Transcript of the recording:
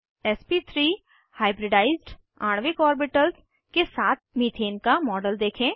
sp3 hybridised आणविक orbitals के साथ मीथेन का मॉडल देखें